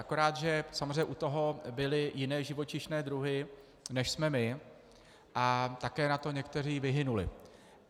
Akorát že samozřejmě u toho byly jiné živočišné druhy, než jsme my, a také na to některé vyhynuly.